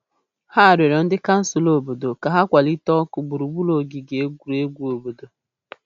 Ha rịọrọ ndị kansụl obodo ka ha kwalite ọkụ gburugburu ogige egwuregwu obodo.